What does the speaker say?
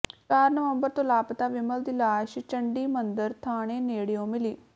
ਚਾਰ ਨਵੰਬਰ ਤੋਂ ਲਾਪਤਾ ਵਿਮਲ ਦੀ ਲਾਸ਼ ਚੰਡੀਮੰਦਰ ਥਾਣੇ ਨੇੜਿਓਂ ਮਿਲੀ